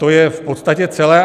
To je v podstatě celé.